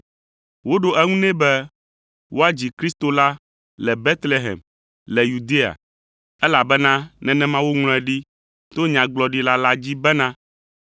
Woɖo eŋu nɛ be, “Woadzi Kristo la le Betlehem le Yudea, elabena nenema woŋlɔe ɖi to nyagblɔɖila la dzi bena,